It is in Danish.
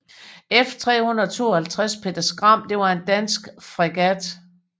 F352 Peder Skram var en dansk fregat